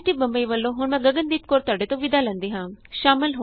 IIT Bombay ਵਲੋਂ ਮੈਂ Gagandeep Kaur ਤੁਹਾਡੇ ਤੋਂ ਵਿਦਾ ਲੈਂਦੀ ਹਾਂ